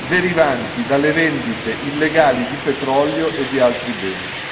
derivanti dalle vendite illegali di petrolio e di altri beni.